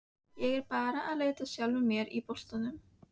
Ég er bara að leita að sjálfri mér á botninum.